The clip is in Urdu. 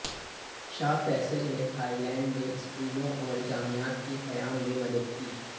شاہ فیصل نے تھائی لینڈ میں سکولوں اور جامعات کے قیام میں مدد کی